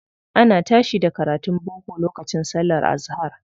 Ana tashi da karatun boko lokacin sallar azahar.